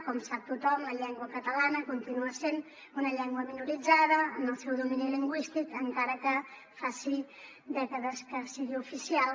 com sap tothom la llengua catalana continua sent una llengua minoritzada en el seu domini lingüístic encara que faci dècades que sigui oficial